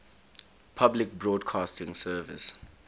public broadcasting service